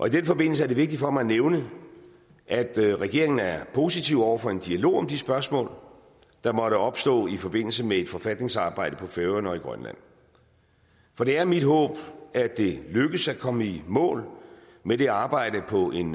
i den forbindelse er det vigtigt for mig at nævne at regeringen er positiv over for en dialog om de spørgsmål der måtte opstå i forbindelse med et forfatningsarbejde på færøerne og i grønland for det er mit håb at det lykkes at komme i mål med det arbejde på en